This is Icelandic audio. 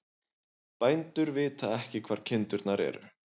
Bændur vita ekki hvar kindurnar eru